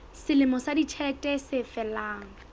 selemo sa ditjhelete se felang